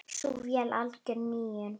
Sú vél er algjör nýjung.